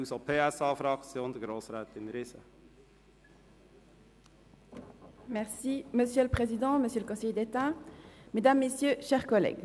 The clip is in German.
Gut, dann hat zuerst Grossrätin Riesen für die SP-JUSO-PSA-Fraktion das Wort.